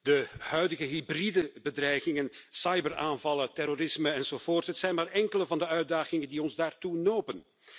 De huidige hybride bedreigingen, cyberaanvallen, terrorisme enzovoort, zijn maar enkele van de uitdagingen die ons daartoe nopen.